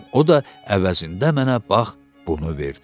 O da əvəzində mənə bax bunu verdi.